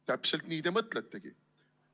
Täpselt nii te mõtletegi.